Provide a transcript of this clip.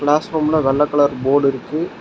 Class ரூம்ல வெள்ள colour board இருக்கு.